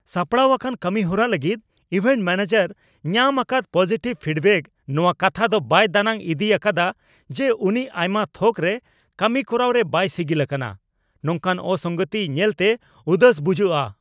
ᱥᱟᱯᱲᱟᱣ ᱟᱠᱟᱱ ᱠᱟᱹᱢᱤᱦᱚᱨᱟ ᱞᱟᱹᱜᱤᱫ ᱤᱵᱷᱮᱱᱴ ᱢᱚᱱᱮᱡᱟᱨᱮ ᱧᱟᱢ ᱟᱠᱟᱫ ᱯᱚᱡᱤᱴᱤᱵᱷ ᱯᱷᱤᱰᱵᱮᱠ ᱱᱚᱣᱟ ᱠᱟᱛᱷᱟ ᱫᱚ ᱵᱟᱭ ᱫᱟᱱᱟᱝ ᱤᱫᱤ ᱟᱠᱟᱫᱟ ᱡᱮ, ᱩᱱᱤ ᱟᱭᱢᱟ ᱛᱷᱚᱠ ᱨᱮ ᱠᱟᱹᱢᱤ ᱠᱚᱨᱟᱣ ᱨᱮ ᱵᱟᱭ ᱥᱤᱜᱤᱞ ᱟᱠᱟᱱᱟ ᱾ ᱱᱚᱝᱠᱟᱱ ᱚᱥᱚᱝᱜᱚᱛᱤ ᱧᱮᱞ ᱛᱮ ᱩᱫᱟᱹᱥ ᱵᱩᱡᱩᱜᱼᱟ ᱾